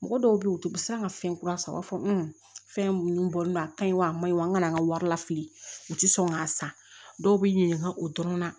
Mɔgɔ dɔw bɛ yen u tɛ bɛrɛ ka fɛn kura san u b'a fɔ fɛn minnu bɔlen don a ka ɲi wa a maɲi wa an ka wari lafili u tɛ sɔn k'a san dɔw bɛ ɲininka o dɔrɔn na